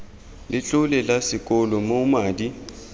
letlole la sekolo moo madi